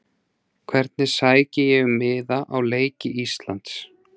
Hvernig sæki ég um miða á leiki Íslands?